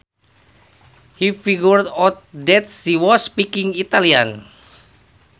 He figured out that she was speaking Italian